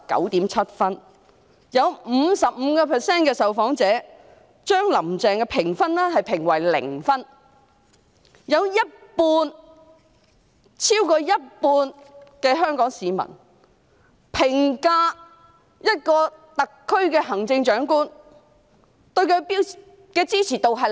有 55% 的受訪者給予"林鄭"的評分為零分，超過一半香港市民評價這位特區行政長官時，對她的支持度是零。